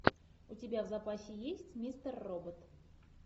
у тебя в запасе есть мистер робот